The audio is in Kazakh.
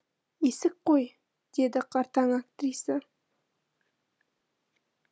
есік қой деді қартаң актриса